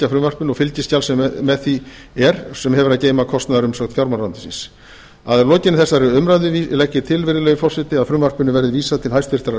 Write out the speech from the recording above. frumvarpinu og fylgiskjali sem með því er sem hefur að geyma kostnaðarumsögn fjármálaráðuneytisins að lokinni þessari umræðu legg ég til virðulegi forseti að frumvarpinu verði vísað til háttvirtrar sjávarútvegs og